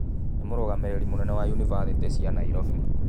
Nĩ mũrũgamĩrĩri mũnene wa ũnibathĩtĩ cia Nairobi.